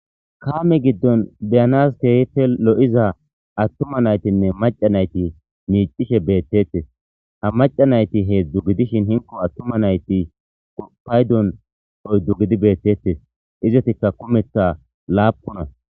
kaame giddon beyanas keehipe lo7iza attuma naytinne maca nayti miicishe beettettes ha maca nayti heedzdzu gidishin hinko attuma nayti paydon oydzdu gidi beettettes izatika kumetha laapuna